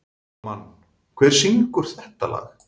Dalmann, hver syngur þetta lag?